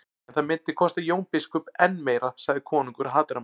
En það myndi kosta Jón biskup enn meira, sagði konungur hatrammur.